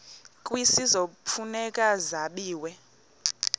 kwisizwe kufuneka zabiwe